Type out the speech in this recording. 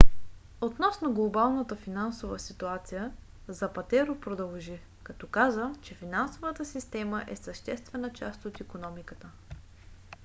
относно глобалната финансова ситуация запатеро продължи като каза че финансовата система е съществена част от икономиката